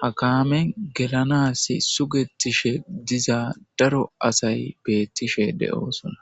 ha kaamen gelanas sugetishe diza daro asay beettishe de7oosona